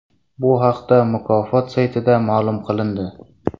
Bu haqda mukofot saytida ma’lum qilindi .